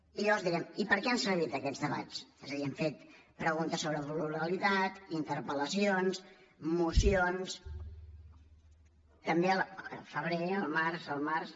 i llavors direm i per què han servit aquests debats és a dir hem fet preguntes sobre pluralitat interpel·lacions mocions al febrer al març